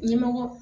Ɲɛmɔgɔ